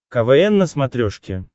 квн на смотрешке